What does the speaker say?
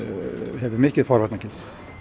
hefur mikið forvarnargildi